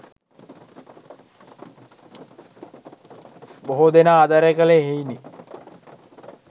බොහෝ දෙනා ආදරය කළේ එහෙයිනි.